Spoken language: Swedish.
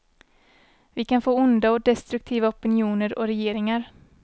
Vi kan få onda och destruktiva opinioner och regeringar.